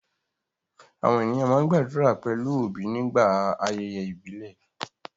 Àwọn ènìyàn máa ń gbàdúrà pẹ̀lú obi nígbà ayẹyẹ ìbílẹ̀